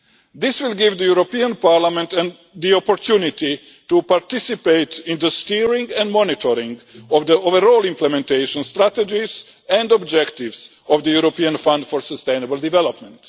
This will give the European Parliament the opportunity to participate in the steering and monitoring of the overall implementation strategies and objectives of the European Fund for Sustainable Development.